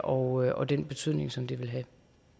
og og den betydning som det vil have